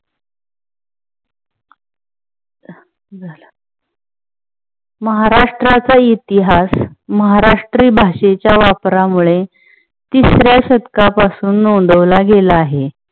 महाराष्ट्राचा इतिहास महाराष्ट्री भाषेच्या वापरामुळे तिसर्या शतकापासून नोंदवला गेला आहे.